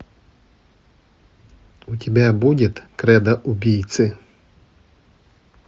у тебя будет кредо убийцы